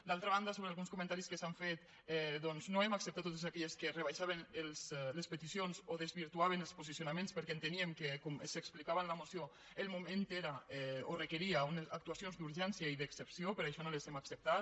d’altra banda sobre alguns comentaris que s’han fet doncs no hem acceptat totes aquelles que en rebaixaven les peticions o desvirtuaven els posicionaments perquè enteníem que com s’explicava en la moció el moment requeria unes actuacions d’urgència i d’excepció per això no les hem acceptat